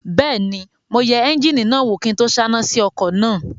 Bẹ́ẹ̀ni, mo yẹ éúnjínì náà wò kí n tó sáná sí ọkọ̀ náà